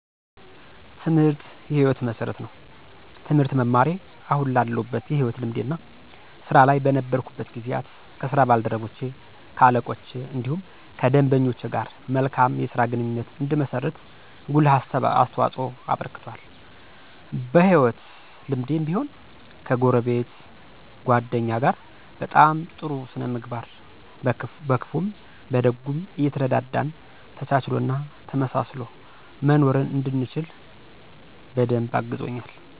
ትምህርት የ ህይወት መሠረት ነው። ትምህርት መማሬ አሁን ላለሁበት የህይወት ልምዴ እና ስራ ላይ በነበርኩበት ጊዜያት ከ ስራ ባልደረቼ ,ከ አለቆቼ እንዲሁም ከደንበኞች ጋር መልካም የስራ ግንኙነት እንድመሰርት ጉልህ አስተዋፅኦ አበርክቷል። በ ህይወት ልምዴም ቢሆን ከጎረቤት ,ጎደኛ ጋር በ ጥሩ ስነ ምግባር በክፉም በደጉም እየተረዳዳን ተቻችሎ እና ተመሳስሎ መኖርን እንድችል በደንብ አግዞኛል።